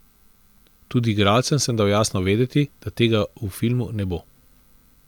Tudi igralcem sem dal jasno vedeti, da tega v filmu ne bo.